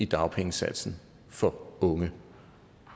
dagpengesatsen for unge